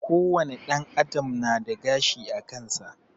Ko wane ɗan adam nada gashi akansa